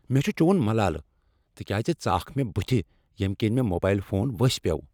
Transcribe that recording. مےٚ چھ چون ملالہٕ تکیاز ژٕ آکھ مےٚ بتھ ییٚمہ کِنۍ مےٚ موبایل فون وسی پیوٚو۔